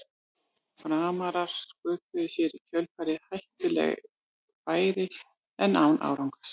Framarar sköpuðu sér í kjölfarið hættuleg færi en án árangurs.